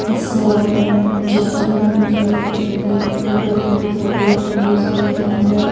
इस अ अ चित्र में मुझे एक अ रूम दिखाई दे रहा है इस रूम के अंदर--